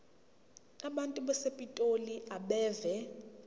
abantu basepitoli abeve